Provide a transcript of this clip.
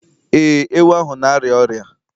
Ee, ewu ahụ na-arịa ọrịa